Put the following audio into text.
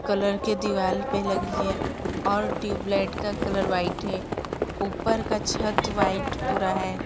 Colour के दीवाल पे लगी है और ट्यूबलाइट का कलर व्हाइट है ऊपर का छत व्हाइट पूरा है।